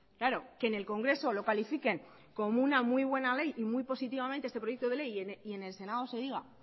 claro que en el congreso lo califiquen como una muy buena ley y muy positivamente este proyecto de ley y en el senado se diga